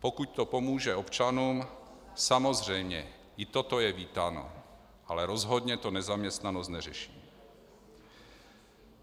Pokud to pomůže občanům, samozřejmě, i toto je vítáno, ale rozhodně to nezaměstnanost neřeší.